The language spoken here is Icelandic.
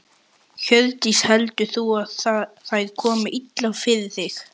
Hjördís: Heldur þú að þær komi illa fyrir þig?